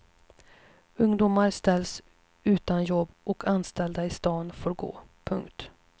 Ungdomar ställs utan jobb och anställda i stan får gå. punkt